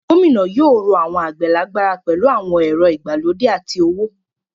Gómìnà yóò ró àwọn àgbẹ̀ lágbára pẹ̀lú àwọn ẹ̀rọ ìgbàlódé àti owó.